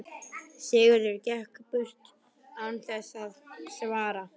Sigurður gekk burt án þess að svara.